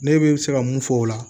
Ne bɛ se ka mun fɔ o la